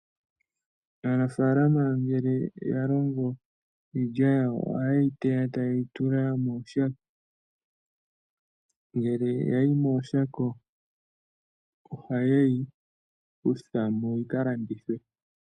Aanafaalama ngele ya longo iilya yawo, ohaye yi teya ta ye yi tula mooshako. Ngele yayi mooshako ohaye yi kutha mo yi ka landithwe.